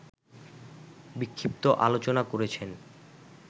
বিক্ষিপ্ত আলোচনা করেছেন